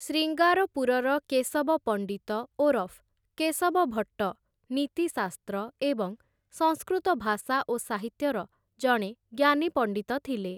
ଶ୍ରୀଙ୍ଗାରପୁରର କେଶବ ପଣ୍ଡିତ ଓରଫ୍‌ କେଶବ ଭଟ୍ଟ, ନୀତିଶାସ୍ତ୍ର ଏବଂ ସଂସ୍କୃତ ଭାଷା ଓ ସାହିତ୍ୟର ଜଣେ ଜ୍ଞାନୀ ପଣ୍ଡିତ ଥିଲେ ।